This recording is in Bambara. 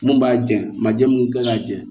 Mun b'a jɛn majɛ mun kan ŋa jɛn